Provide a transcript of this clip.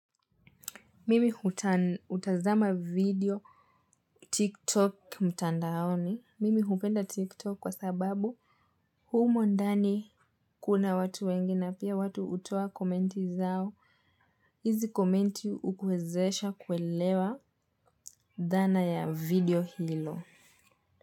Mimi hutazama video tiktok mtandaoni. Mimi hupenda tiktok kwa sababu humo ndani kuna watu wengi na pia watu hutoa komenti zao. Hizi komenti hukuwezesha kuelewa dhana ya video hilo.